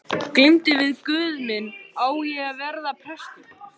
Glímdi við guð minn: Á ég að verða prestur?